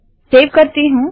save करती हूँ